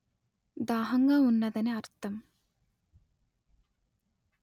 దాహంగా వున్నదని అర్థం